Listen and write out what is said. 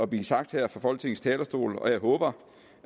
blive sagt her fra folketingets talerstol og jeg håber